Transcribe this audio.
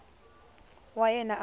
wa yena a n wi